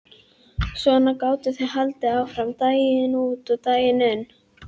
Svona gátu þau haldið áfram daginn út og daginn inn.